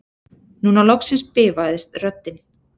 Núna loksins bifaðist röddin